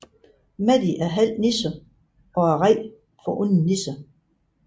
Maddie er halv irer og er bange for onde nisser